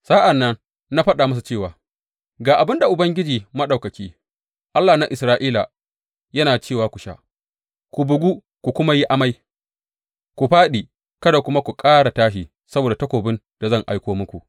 Sa’an nan na faɗa musu cewa, Ga abin da Ubangiji Maɗaukaki, Allah na Isra’ila, yana cewa ku sha, ku bugu ku kuma yi amai, ku fāɗi, kada kuma ku ƙara tashi saboda takobin da zan aiko muku.’